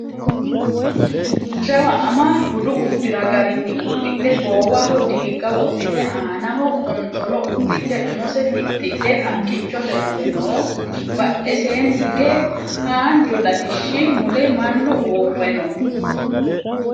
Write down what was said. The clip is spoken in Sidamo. jawa ama budu uddira garinni uddidhe goowaho diigga wodhite aanaho qonxolo uddidhe umose fixxidhe haqqichote mule no badheseenni hige haanju latishshi mule mannu uurre no